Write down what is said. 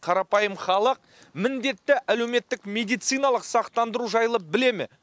қарапайым халық міндетті әлеуметтік медициналық сақтандыру жайлы біле ме